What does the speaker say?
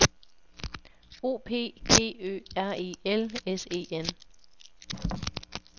O P G Ø R E L S E N